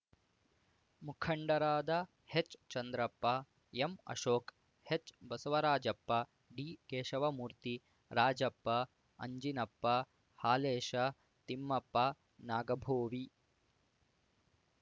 ಮುಖಂಡರಾದ ಹೆಚ್‌ಚಂದ್ರಪ್ಪ ಎಂಅಶೋಕ್ ಎಚ್‌ಬಸವರಾಜಪ್ಪ ಡಿಕೇಶವಮೂರ್ತಿ ರಾಜಪ್ಪ ಅಂಜಿನಪ್ಪ ಹಾಲೇಶ ತಿಮ್ಮಪ್ಪ ನಾಗಾಭೋವಿ